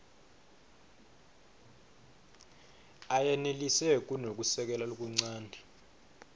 ayenelisi kunekusekela lokuncane